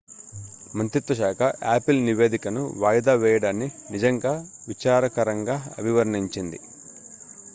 "మంత్రిత్వశాఖ యాపిల్ నివేదికను వాయిదా వేయడాన్ని "నిజంగా విచారకరంగా" అభివర్ణించింది.""